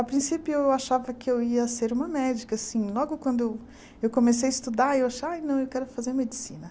A princípio eu achava que eu ia ser uma médica, assim, logo quando eu comecei a estudar, eu acha ai, não, eu quero fazer medicina.